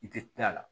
I tɛ taa a la